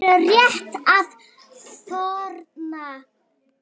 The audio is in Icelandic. Þau eru rétt að þorna!